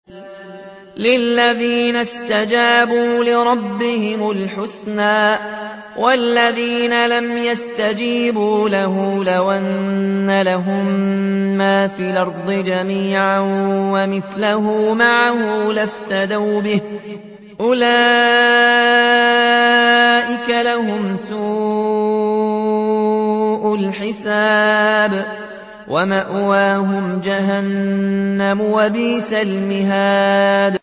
لِلَّذِينَ اسْتَجَابُوا لِرَبِّهِمُ الْحُسْنَىٰ ۚ وَالَّذِينَ لَمْ يَسْتَجِيبُوا لَهُ لَوْ أَنَّ لَهُم مَّا فِي الْأَرْضِ جَمِيعًا وَمِثْلَهُ مَعَهُ لَافْتَدَوْا بِهِ ۚ أُولَٰئِكَ لَهُمْ سُوءُ الْحِسَابِ وَمَأْوَاهُمْ جَهَنَّمُ ۖ وَبِئْسَ الْمِهَادُ